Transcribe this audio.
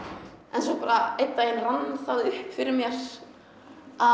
en svo bara einn daginn rann það upp fyrir mér að